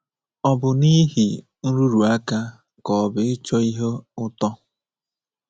Ọ bụ n’ihi nrụrụ aka ka ọ bụ ịchọ ihe ụtọ?